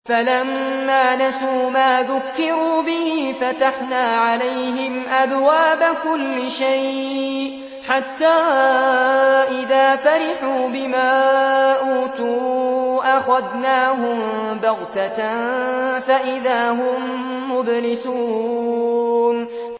فَلَمَّا نَسُوا مَا ذُكِّرُوا بِهِ فَتَحْنَا عَلَيْهِمْ أَبْوَابَ كُلِّ شَيْءٍ حَتَّىٰ إِذَا فَرِحُوا بِمَا أُوتُوا أَخَذْنَاهُم بَغْتَةً فَإِذَا هُم مُّبْلِسُونَ